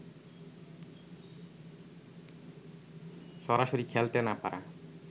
সরাসরি খেলতে না পারা